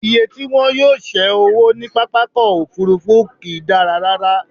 Iye tí wọn yóò ṣé owó ní pápákọ̀-òfurufú kì í dára rárá.